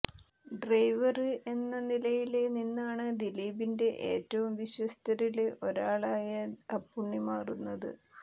driver എന്ന നിലയില് നിന്നാണ് ദിലീപിന്റെ ഏറ്റവും വിശ്വസ്തരില് ഒരാളിയ അപ്പുണ്ണി മാറുന്നത്